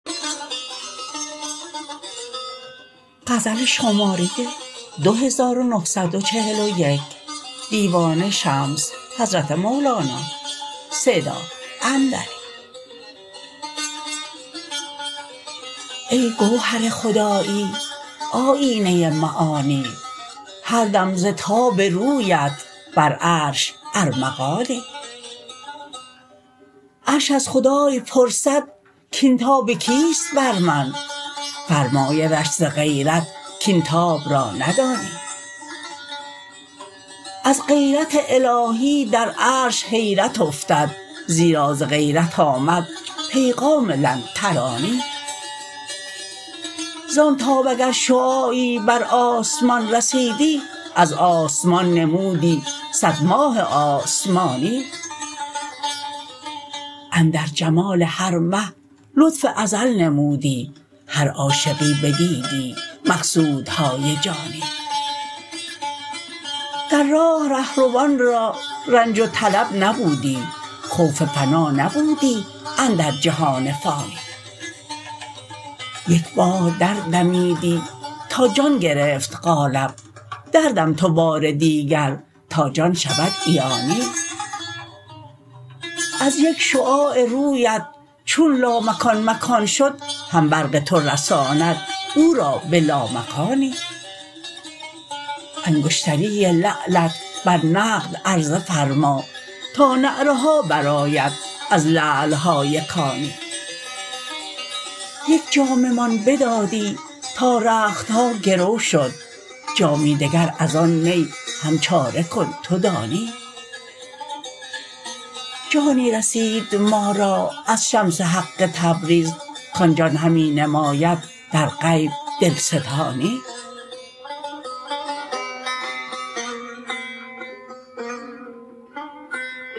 ای گوهر خدایی آیینه معانی هر دم ز تاب رویت بر عرش ارمغانی عرش از خدای پرسد کاین تاب کیست بر من فرمایدش ز غیرت کاین تاب را ندانی از غیرت الهی در عرش حیرت افتد زیرا ز غیرت آمد پیغام لن ترانی زان تاب اگر شعاعی بر آسمان رسیدی از آسمان نمودی صد ماه آسمانی اندر جمال هر مه لطف ازل نمودی هر عاشقی بدیدی مقصودهای جانی در راه رهروان را رنج و طلب نبودی خوف فنا نبودی اندر جهان فانی یک بار دردمیدی تا جان گرفت قالب دردم تو بار دیگر تا جان شود عیانی از یک شعاع رویت چون لامکان مکان شد هم برق تو رساند او را به لامکانی انگشتری لعلت بر نقد عرضه فرما تا نعره ها برآید از لعل های کانی یک جام مان بدادی تا رخت ها گرو شد جامی دگر از آن می هم چاره کن تو دانی جانی رسید ما را از شمس حق تبریز کان جان همی نماید در غیب دلستانی